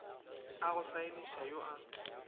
a go saeniša yo a